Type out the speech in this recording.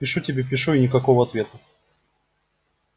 пишу тебе пишу и никакого ответа